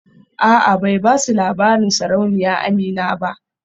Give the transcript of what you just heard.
A'a bai basu labarin sarauniya Amina ba